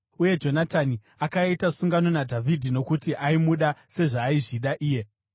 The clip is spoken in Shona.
Uye Jonatani akaita sungano naDhavhidhi nokuti aimuda sezvaaizvida iye.